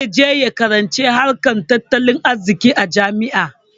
Zai je ya karanci harkar tattalin arziƙi a jami'a.